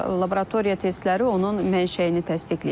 Laboratoriya testləri onun mənşəyini təsdiqləyib.